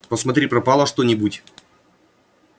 посмотри пропало что-нибудь